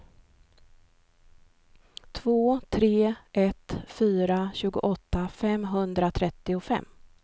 två tre ett fyra tjugoåtta femhundratrettiofem